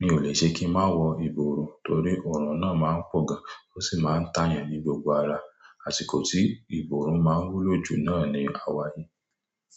Mi ò lè ṣe kí ń má wọ ìborùn torí ọ̀rùn náà má ń pọ̀ gan, ó sì má ń tàyàn ní gbogbo ara. Àsìkò tí ìborùn má ń wú lọ jù náà ni àwáyi.